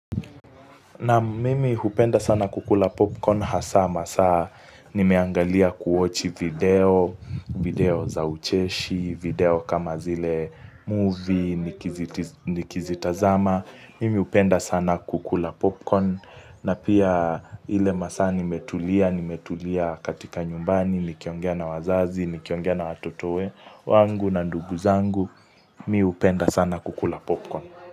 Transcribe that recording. Na mimi hupenda sana kukula popcorn hasa, masaa nimeangalia kuochi video, video video za ucheshi, video kama zile movie, nikizitazama, mimi upenda sana kukula popcorn, na pia ile masaa nimetulia, nimetulia katika nyumbani, nikiongea na wazazi, nikiongea na watoto we, wangu na ndugu zangu, mi upenda sana kukula popcorn.